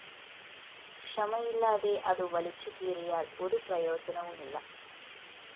ക്ഷമയില്ലാതെ അതു വലിച്ചുകീറിയാൽ ഒരു പ്രയോജനവുമില്ല